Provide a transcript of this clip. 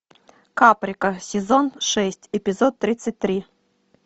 каприка сезон шесть эпизод тридцать три